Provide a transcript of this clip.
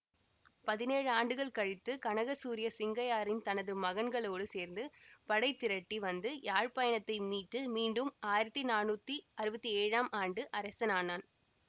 பதினேழு ஆண்டுகள் கழித்து கனகசூரிய சிங்கையாரியன் தனது மகன்களோடு சேர்ந்து படை திரட்டி வந்து யாழ்ப்பாணத்தை மீட்டு மீண்டும் ஆயிரத்தி நானூத்தி அறுவத்தி ஏழாம் ஆண்டு அரசன் ஆனான்